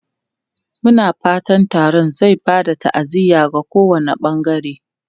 Muna fatan taron zai ba da ta'aziyya ga kowane bangare.